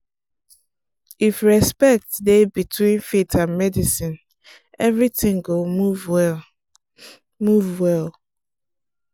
if respect dey between faith and medicine everything go move well. move well.